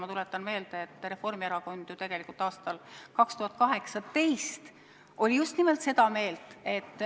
Ma tuletan meelde, mida Reformierakond tegelikult aastal 2018 arvas.